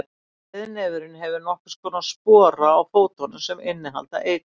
breiðnefurinn hefur nokkurs konar spora á fótunum sem innihalda eitur